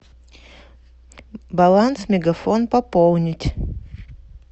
баланс мегафон пополнить